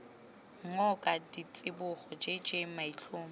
ngoka ditsibogo j j maitlhomo